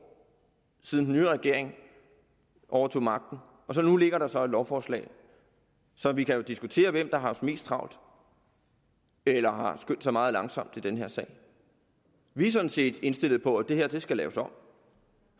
siden den nye regering overtog magten og nu ligger der så et lovforslag så vi kan jo diskutere hvem der har haft mest travlt eller har skyndt sig meget langsomt i den her sag vi er sådan set indstillet på at det her skal laves om